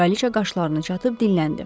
Kraliçə qaşlarını çatıb dinləndi.